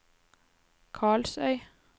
Karlsøy